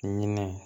Ɲinɛ